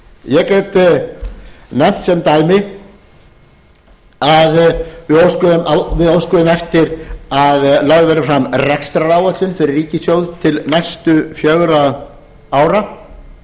ég get nefnt sem dæmi að við óskuðum eftir að lögð væri fram rekstraráætlun fyrir ríkissjóð til næstu fjögurra ára